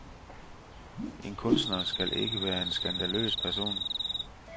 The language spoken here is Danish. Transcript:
En kunstner skal ikke være en skandaløs person.